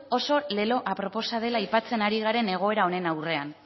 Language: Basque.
oso lelo aproposa dela aipatzen ari garen egoera honen aurrean